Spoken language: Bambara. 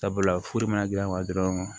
Sabula furu mana gilan dɔrɔn